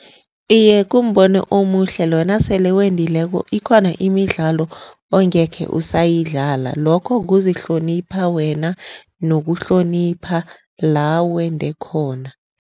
Iye, kumbono omuhle loyo nasele wendileko ikhona imidlalo ongeke usayidlala. Lokho kuzihlonipha wena nokuhlonipha la wende khona.